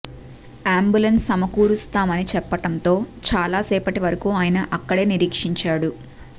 ambulance సమకూరుస్తామని చెప్పడంతో చాలా సేపటి వరకు ఆయన అక్కడే నిరీక్షించాడు